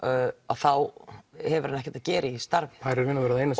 þá hefur hann ekkert að gera í þessu starfi það er í raun og veru það eina